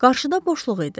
Qarşıda boşluq idi.